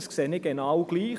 Ich sehe dies genau gleich.